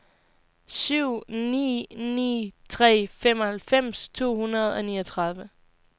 syv ni ni tre femoghalvfems to hundrede og niogtredive